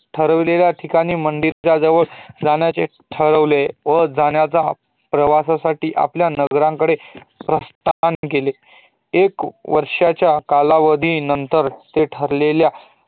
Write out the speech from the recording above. ठरवल्येल्या ठिकाणी मंदिराच्या ठिकाणी परत जाण्यास ठरवत आणि आता आपल्याला प्रवासाठी आपल्या नगराकडे प्रस्थान केले एक वर्षाच्या काला वधीनंतर ते ठरलेल्या